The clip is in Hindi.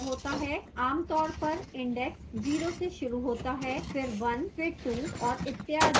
आमतौर पर index 0 से शुरू होता है फिर 1 फिर 2 और इत्यादि